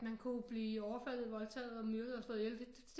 Man kunne blive overfaldet voldtaget myrdet og slået ihjel det